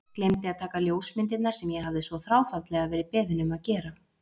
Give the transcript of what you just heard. Gleymdi að taka ljósmyndirnar sem ég hafði svo þráfaldlega verið beðinn um að gera.